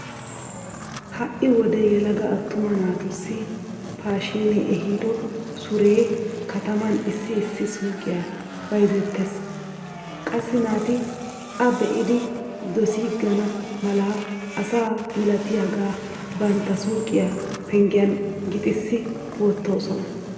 Ha"i wode yelaga attuma naatussi paashiinee ehido suree kataman issi issi suuqiya bayzettees. Qassi naati a be'idi dosiigana mala asa milatiyagaa bantta suuqiya penggen gixissi wottoosona.